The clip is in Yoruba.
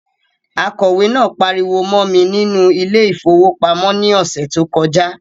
Akọ̀wẹ̀ náà pariwo mọ́ mi nínú ile-ìfowópamó ní ọsẹ tó kọjá